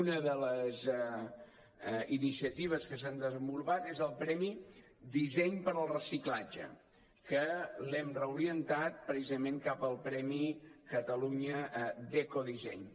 una de les iniciatives que s’han desenvolupat és el premi disseny per al reciclatge que l’hem reorientat precisament cap al premi catalunya d’ecodisseny